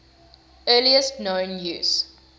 earliest known use